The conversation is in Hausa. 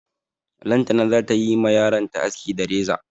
Lantana za ta yi ma yaronta aski da reza.